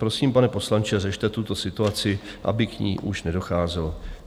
Prosím, pane poslanče, řešte tuto situaci, aby k ní už nedocházelo."